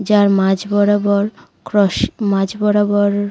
যার মাঝ বরাবর ক্রস । মাঝ বরাবর--